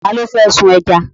Ta ló fẹ́ sun ẹja?